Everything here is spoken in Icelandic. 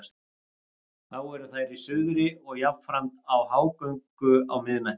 Þá eru þær í suðri og jafnframt í hágöngu á miðnætti.